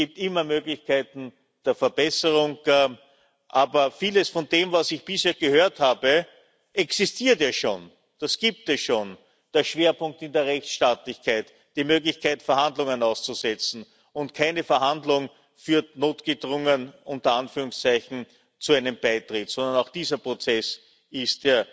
Es gibt immer Möglichkeiten der Verbesserung, aber vieles von dem, was ich bisher gehört habe, existiert ja schon, das gibt es schon den Schwerpunkt in der Rechtsstaatlichkeit, die Möglichkeit, Verhandlungen auszusetzen, und keine Verhandlung führt notgedrungen zu einem Beitritt, sondern auch dieser Prozess ist